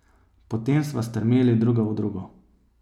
Potem sva strmeli druga v drugo.